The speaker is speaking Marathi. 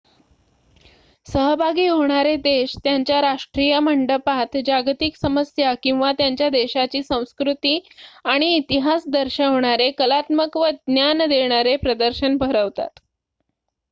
सहभागी होणारे देश त्यांच्या राष्ट्रीय मंडपात जागतिक समस्या किंवा त्यांच्या देशाची संस्कृती आणि इतिहास दर्शवणारे कलात्मक व ज्ञान देणारे प्रदर्शन भरवतात